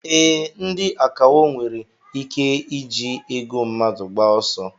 Ee, ndị akawo nwere ike iji ego mmadụ gbaa ọsọ.